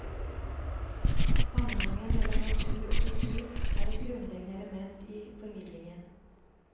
Sammenhengen mellom natur og kultur er et grunnleggende element i formidlingen.